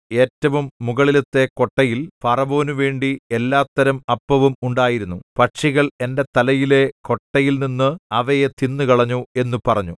ഏറ്റവും മുകളിലത്തെ കൊട്ടയിൽ ഫറവോനുവേണ്ടി എല്ലാത്തരം അപ്പവും ഉണ്ടായിരുന്നു പക്ഷികൾ എന്റെ തലയിലെ കൊട്ടയിൽനിന്ന് അവയെ തിന്നുകളഞ്ഞു എന്നു പറഞ്ഞു